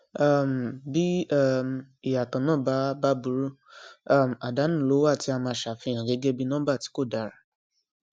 um bí um ìyàtọ náà bá bá buru um àdánù ló wà tí a máa ṣàfihàn gẹgẹ bí nọmbà tí kò dára